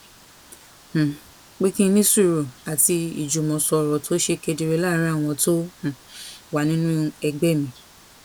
um pé kí n ní sùúrù àti ìjùmọsọrọ tó ṣe kedere láàárín àwọn tó um wà nínú nínú ẹgbé mi